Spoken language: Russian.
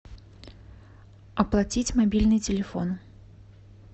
оплатить мобильный телефон